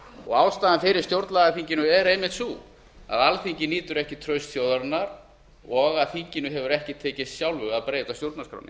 og ástæðan fyrir stjórnlagaþinginu er einmitt sú að alþingi nýtur ekki trausts þjóðarinnar og að þinginu hefur ekki tekist sjálfu að breyta stjórnarskránni